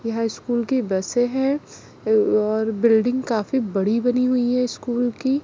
यह स्कूल की बसे है और बिल्डिंग काफी बड़ी बनी हुई है स्कूल की--